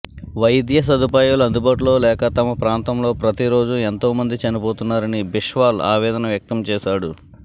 వైద్య సదుపాయాలు అందుబాటులో లేక తమ ప్రాంతంలో ప్రతిరోజు ఎంతో మంది చనిపోతున్నారని బిశ్వాల్ ఆవేదన వ్యక్తం చేశాడు